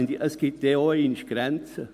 Es gibt auch einmal Grenzen.